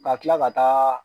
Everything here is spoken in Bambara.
Ka kila ka taa